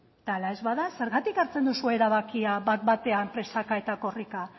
eta hala ez bada zergatik hartzen duzue erabakia bat batean presaka eta korrika